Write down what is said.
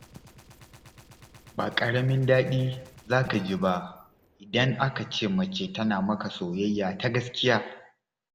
Ba ƙaramin daɗi za ka ji ba, idan aka ce mace tana maka soyayya ta gaskiya.